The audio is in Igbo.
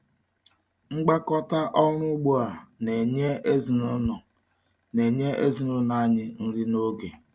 Ngwakọta ọrụ ugbo a na-enye ezinụlọ na-enye ezinụlọ anyị nri na ego.